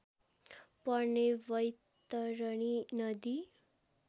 पर्ने वैतरणी नदी